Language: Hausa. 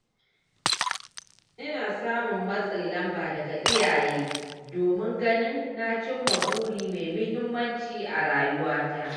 Ina samun matsin lamba daga iyaye domin ganin na cimma buri mai muhimmanci a rayuwata.